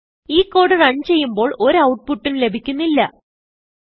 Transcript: ഈ code run ചെയ്യുമ്പോൾ ഒരു ഔട്ട്പുട്ട് ഉം ലഭിക്കുന്നില്ല